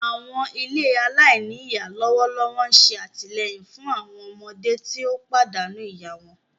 Àwọn ilé alainíyá lọwọlọwọ n ṣe àtìleyìn fun àwọn ọmọdé ti o pàdánù ìyá wọn.